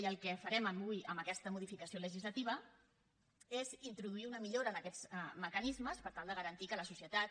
i el que farem avui amb aquesta modificació legislativa és introduir una millora en aquests mecanismes per tal de garantir que la societat